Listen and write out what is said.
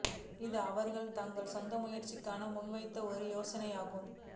இது அவர்கள் தங்கள் சொந்த முயற்சியில் ககான் முன்வைத்த ஒரு யோசனையாகும்